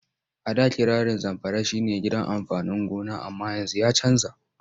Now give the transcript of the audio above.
A da kirarin Zamfara shi ne gidan amfanin gona amma yanzu ya canja.